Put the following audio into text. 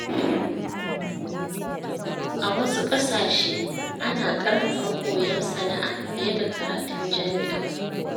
A wasu ƙasashe, ana ƙarfafa koyon sana’a fiye da karatun jami’a.